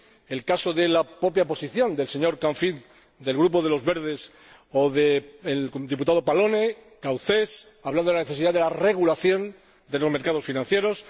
Asimismo, el caso de la propia posición del señor Canfin del Grupo de los Verdes o de los diputados Pallone y Gauzès, que han hablado de la necesidad de la regulación de los mercados financieros.